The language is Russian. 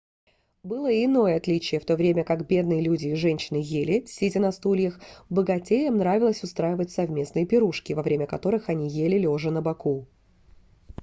было и иное отличие в то время как бедные люди и женщина ели сидя на стульях богатеям нравилось устраивать совместные пирушки во время которых они ели лежа на боку